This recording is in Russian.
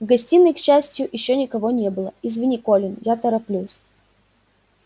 в гостиной к счастью ещё никого не было извини колин я тороплюсь